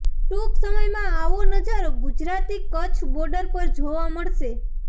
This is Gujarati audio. ટૂંક સમયમાં આવો નજારો ગુજરાતની કચ્છ બોર્ડર પર જોવા મળશે